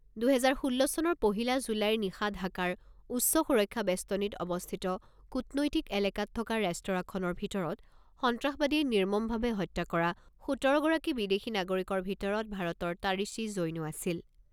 দুহেজাৰ ষোল্ল চনৰ পহিলা জুলাইৰ নিশা ঢাকাৰ উচ্চ সুৰক্ষা বেষ্টনিত অৱস্থিত কূটনৈতিক এলেকাত থকা ৰেষ্টৰাখনৰ ভিতৰত সন্ত্ৰাসবাদীয়ে নিৰ্মমভাৱে হত্যা কৰা সোতৰগৰাকী বিদেশী নাগৰিকৰ ভিতৰত ভাৰতৰ তাৰিশী জৈনো আছিল।